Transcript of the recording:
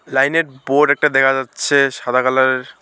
লাইনের বোর্ড একটা দেখা যাচ্ছে সাদা কালারের।